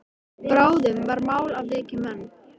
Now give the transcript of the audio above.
Bráðum var mál að vekja menn.